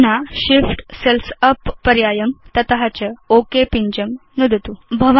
अधुना Shift cells up पर्यायं नुदतु तत च ओक पिञ्जं नुदतु